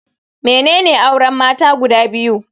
Menene auren mata guda biyu?